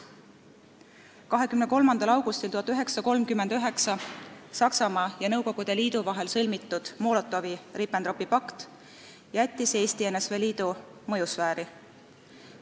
1939. aasta 23. augustil Saksamaa ja Nõukogu Liidu vahel sõlmitud Molotovi-Ribbentropi pakt jättis Eesti NSV Liidu mõjusfääri.